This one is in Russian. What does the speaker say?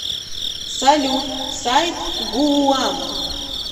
салют сайт гууам